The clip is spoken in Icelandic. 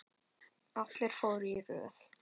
Allir fóru í röð.